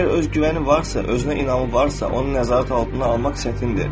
Əgər özgüvəni varsa, özünə inamı varsa, onu nəzarət altına almaq çətindir.